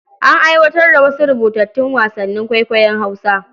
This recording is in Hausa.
An aiwatar da wasu rubutattun wasannin kwaikwayon Hausa.